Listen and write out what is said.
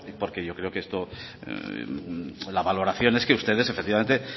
porque yo creo que esto la valoración es que ustedes efectivamente